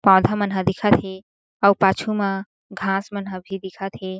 पौधा मन ह दिखत हे अउ पाछू मा घास मन ह भी दिखत हे।